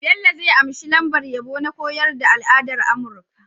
Bello zai anshi lambar yabo na koyar da al'adar amurka